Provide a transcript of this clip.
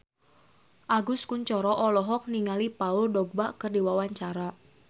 Agus Kuncoro olohok ningali Paul Dogba keur diwawancara